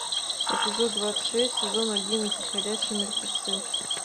эпизод двадцать шесть сезон одиннадцать ходячие мертвецы